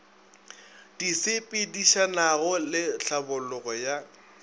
di sepedišanago le tlhabologo ya